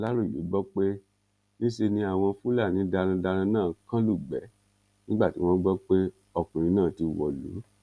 aláròye gbọ pé níṣe ni àwọn fúlàní darandaran náà kàn lugbe nígbà tí wọn gbọ pé ọkùnrin náà ti wọlú